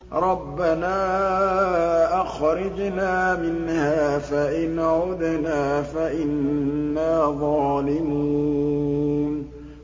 رَبَّنَا أَخْرِجْنَا مِنْهَا فَإِنْ عُدْنَا فَإِنَّا ظَالِمُونَ